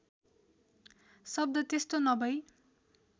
शब्द त्यस्तो नभई